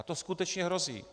A to skutečně hrozí.